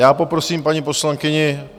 Já poprosím paní poslankyni